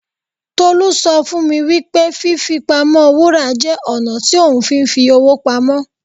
Tolú sọ fún mi wípé fí fi pamọ́ Wúrà jẹ́ ọ̀nà tí ohun fi ń fi owó pamọ́.